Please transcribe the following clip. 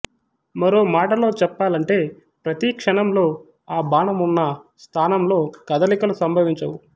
మరో మాటలో చెప్పాలంటే ప్రతి క్షణంలో ఆ బాణం వున్న స్థానంలో కదలికలు సంభవించవు